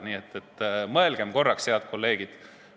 Nii et mõelgem korraks, head kolleegid.